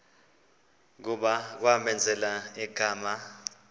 kuba kwamenzela igama